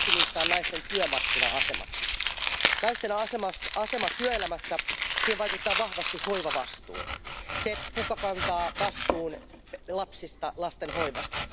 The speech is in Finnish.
Yksi niistä on naisten työmarkkina asema. Naisten asemaan työelämässä vaikuttaa vahvasti hoivavastuu, se kuka kantaa vastuun lapsista, lasten hoivasta.